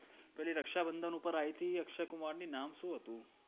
પેલી રક્ષાબંધન ઉપર આયતી અક્ષયકુમાર ની નામ શું હતુ?